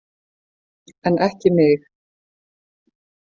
En ekki mig.